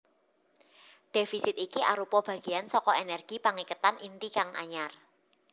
Dhéfisit iki arupa bagéan saka ènèrgi pangiketan inti kang anyar